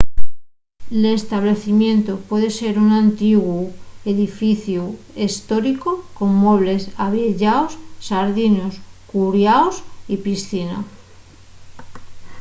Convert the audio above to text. l'establecimientu puede ser un antiguu edificiu hestóricu con muebles avieyaos xardinos curiaos y piscina